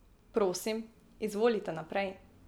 Prosim, izvolita naprej.